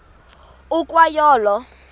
ukwa yo olo